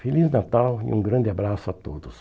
Feliz Natal e um grande abraço a todos.